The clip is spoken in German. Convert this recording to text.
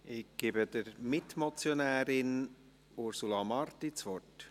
Ich erteile der Mitmotionärin, Ursula Marti, das Wort.